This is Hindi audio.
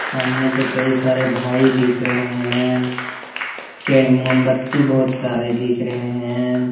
सामने पे कई सारे भाई दिख रहे हैं के मोमबत्ती बहुत सारे दिख रहे हैं ।